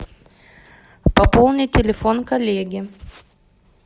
пополни телефон коллеге